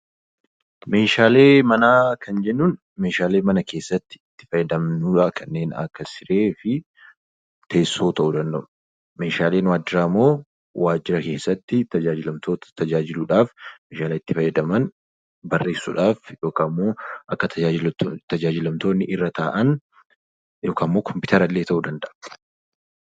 Meeshaalee manaa kan jennuun, Meeshaalee mana keessatti itti fayyadamnu kanneen akka siree fi teessoo ta'uu danda'u. Meeshaalee waajjiraa immoo waajira keessatti tajaajilamtoota tajaajiluuf Meeshaalee itti fayyadaman barreessuudhaaf yookaan immoo akka tajaajilamtoonni irra taa'an yookaan kompiitara illee ta'uu danda'a.